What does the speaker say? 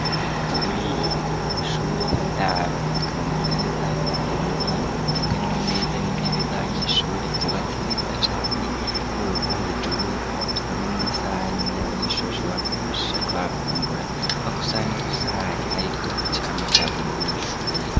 Uburiro mu mashure y'indaro, tukabona neza uburiro bugizwe n'amameza n'intebe z'abanyeshure, vyubatse neza cane ku rwego rwo hejuru, aho tubona n'amasahani y'abanyeshure bashobora kwifashisha bariko barafungura, aho ku sahani ku sahani, hariko icamwa ca buri munyeshure.